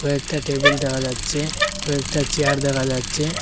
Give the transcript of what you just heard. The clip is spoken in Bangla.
কয়েকটা টেবিল দেখা যাচ্ছে কয়েকটা চেয়ার দেখা যাচ্ছে।